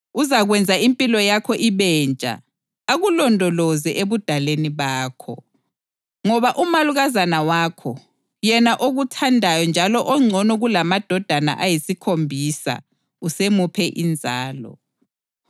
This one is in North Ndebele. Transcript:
Uzakwenza impilo yakho ibentsha, akulondoloze ebudaleni bakho. Ngoba umalukazana wakho, yena okuthandayo njalo ongcono kulamadodana ayisikhombisa, usemuphe inzalo.”